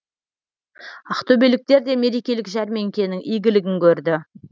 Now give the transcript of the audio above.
ақтөбеліктер де мерекелік жәрмеңкенің игілігін көрді